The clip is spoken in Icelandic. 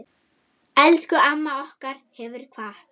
Elsku amma okkar hefur kvatt.